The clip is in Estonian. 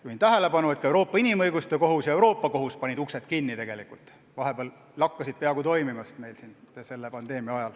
Juhin tähelepanu, et ka Euroopa Inimõiguste Kohus ja Euroopa Kohus panid uksed kinni ja lakkasid pandeemia ajal toimimast.